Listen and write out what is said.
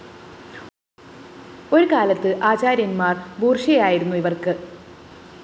ഒരുകാലത്ത് ആചാര്യന്‍മാര്‍ ബൂര്‍ഷ്വയായിരുന്നു ഇവര്‍ക്ക്